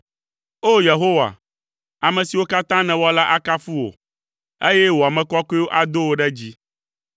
O! Yehowa, ame siwo katã nèwɔ la akafu wò, eye wò ame kɔkɔewo ado wò ɖe dzi.